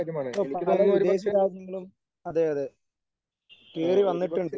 ഇപ്പോ പല വിദേശ രാജ്യങ്ങളും അതെയതെ കേറി വന്നിട്ടുണ്ട്.